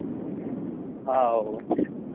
how